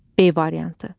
B variantı.